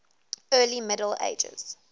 early middle ages